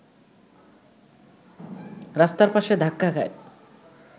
রাস্তার পাশে ধাক্কা খায়